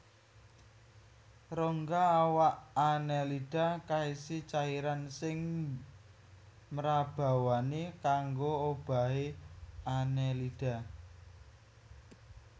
Rongga awak Annelida kaisi cairan sing mrabawani kanggo obahé Annelida